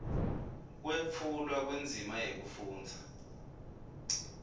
kwetfulwa kwendzima yekufundza